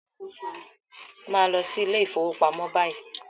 Màá lọ sí ilé ìfọwọ́pamo báyìí!